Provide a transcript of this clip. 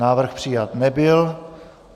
Návrh přijat nebyl.